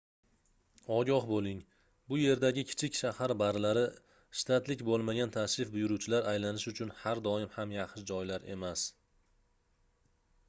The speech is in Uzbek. ogoh boʻling bu yerdagi kichik shahar barlari shtatlik boʻlmagan tashrif buyuruvchilar aylanishi uchun har doim ham yaxshi joylar emas